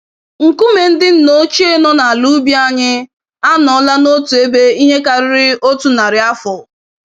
Nkume ndị nna ochie nọ n'ala ubi anyị, anọọla n'otu ebe ihe karịrị otu narị afọ.